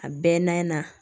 A bɛɛ n'a